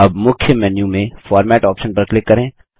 अब मुख्य मेन्यू में फॉर्मेट ऑप्शन पर क्लिक करें